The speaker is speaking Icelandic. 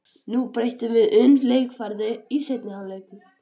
Nú breytum við um leikaðferð í seinni hálfleik.